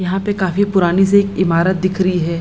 यहाँ पे काफी पुरानी सी एक इमारत दिख रही है।